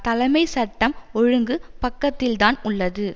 தலைமை சட்டம் ஒழுங்கு பக்கத்தில்தான் உள்ளது